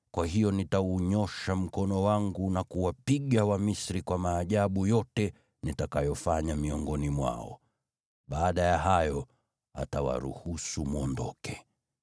Kwa hiyo nitaunyoosha mkono wangu na kuwapiga Wamisri kwa maajabu yote nitakayofanya miongoni mwao. Baada ya hayo, atawaruhusu mwondoke.